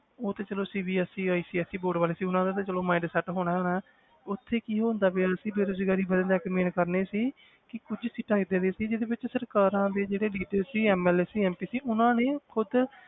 ਉਹ ਤੇ ਚਲੋ CBSEICSE board ਵਾਲੇ ਸੀ ਉਹਨਾਂ ਦਾ ਤੇ ਚਲੋ mind set ਹੋਣਾ ਹੋਣਾ ਹੈ ਉੱਥੇ ਕੀ ਹੁੰਦਾ ਪਿਆ ਸੀ ਬੇਰੁਜ਼ਗਾਰੀ ਵੱਧਣ ਦਾ ਇੱਕ main ਕਾਰਨ ਇਹ ਸੀ ਕਿ ਕੁੱਝ ਸੀਟਾਂ ਏਦਾਂ ਦੀਆਂ ਸੀ ਜਿਹਦੇ ਵਿੱਚ ਸਰਕਾਰਾਂ ਦੇ ਜਿਹੜੇ leader ਸੀ MLA ਸੀ MP ਸੀ ਉਹਨਾਂ ਨੇ ਖੁੱਦ